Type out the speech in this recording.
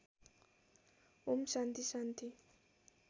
ओम् शान्ति शान्ति